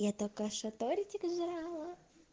я только что тортик жрала